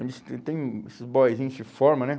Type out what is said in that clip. tem tem esses boizinhos de forma, né?